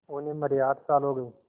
उन्हें मरे आठ साल हो गए